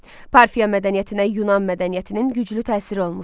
Parfiya mədəniyyətinə Yunan mədəniyyətinin güclü təsiri olmuşdu.